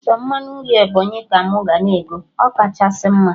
Sọ mmanụ nri Ebọnyị ka mụ ga na ego, ọ kachasị mma